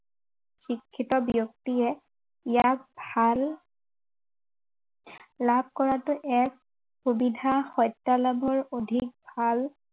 শিক্ষিত ব্য়ক্তিয়ে ইয়াক ভাল লাভ কৰোটো এক সুবিধা সত্য়ালাভৰ অধিক ভাল